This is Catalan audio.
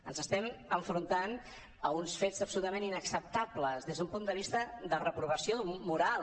ens estem enfrontant a uns fets absolutament inacceptables des d’un punt de vista de reprovació moral